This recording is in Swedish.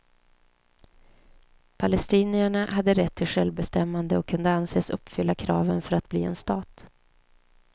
Palestinierna hade rätt till självbestämmande och kunde anses uppfylla kraven för att bli en stat.